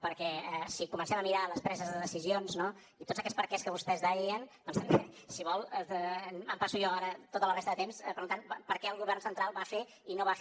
perquè si comencem a mirar les preses de decisions no i tots aquests perquès que vostès deien doncs també si vol em passo jo ara tota la resta de temps preguntant per què el govern central va fer i no va fer